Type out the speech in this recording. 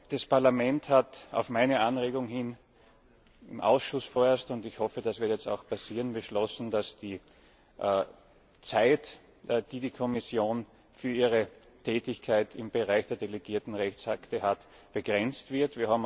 Das Parlament hat auf meine Anregung hin im Ausschuss vorerst, und ich hoffe, das wird jetzt im Plenum auch passieren beschlossen, dass die Zeit, die die Kommission für ihre Tätigkeit im Bereich der delegierten Rechtsakte hat, begrenzt